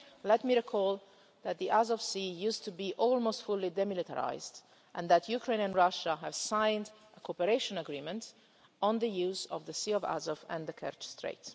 Let me recall that the Azov Sea used to be almost fully demilitarised and that Ukraine and Russia have signed a cooperation agreement on the use of the Sea of Azov and the Kerch Strait.